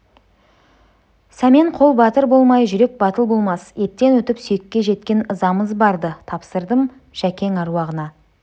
сәмен қол батыр болмай жүрек батыл болмас еттен өтіп сүйекке жеткен ызамыз бар-ды тапсырдым жөкең әруағына